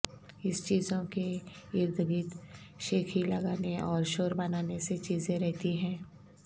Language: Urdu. اس چیزوں کے ارد گرد شیخی لگانے اور شور بنانے سے چیزیں رہتی ہیں